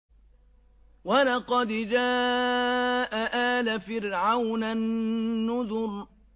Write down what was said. وَلَقَدْ جَاءَ آلَ فِرْعَوْنَ النُّذُرُ